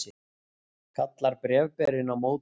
kallar bréfberinn á móti.